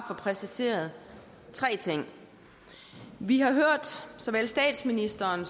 få præciseret tre ting vi har hørt såvel statsministeren